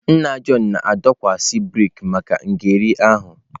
Nna Jọn na-adọkwasị brik maka ngere ahụ.